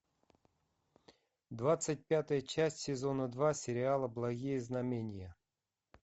двадцать пятая часть сезона два сериала благие знамения